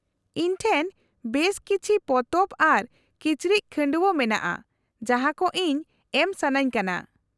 -ᱤᱧ ᱴᱷᱮᱱ ᱵᱮᱥ ᱠᱤᱪᱷᱤ ᱯᱚᱛᱚᱵ ᱟᱨ ᱠᱤᱪᱨᱤᱡ ᱠᱷᱟᱺᱰᱣᱟᱹ ᱢᱮᱱᱟᱜᱼᱟ ᱡᱟᱦᱟᱸ ᱠᱚ ᱤᱧ ᱮᱢ ᱥᱟᱹᱱᱟᱹᱧ ᱠᱟᱱᱟ ᱾